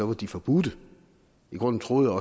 er de forbudte i grunden troede